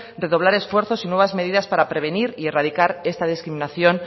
redoblar esfuerzos y nuevas medidas para prevenir y erradicar esta discriminación